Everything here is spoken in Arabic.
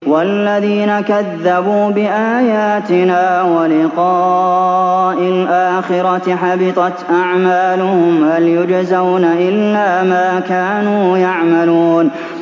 وَالَّذِينَ كَذَّبُوا بِآيَاتِنَا وَلِقَاءِ الْآخِرَةِ حَبِطَتْ أَعْمَالُهُمْ ۚ هَلْ يُجْزَوْنَ إِلَّا مَا كَانُوا يَعْمَلُونَ